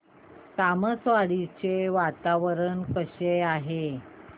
तामसवाडी चे वातावरण कसे आहे